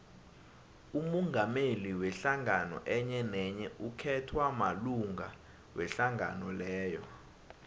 umongameli wehlangano enyenenye ukhethwa malunga wehlangano leyo